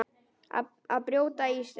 Að brjóta ísinn